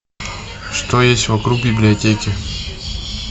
что есть вокруг библиотеки